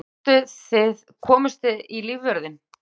Komust þið í lífvörðinn?